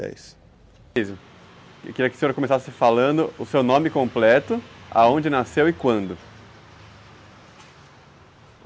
Eu queria que o senhor começasse falando o seu nome completo, aonde nasceu e quando.